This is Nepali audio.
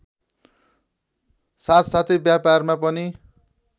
साथसाथै व्यापारमा पनि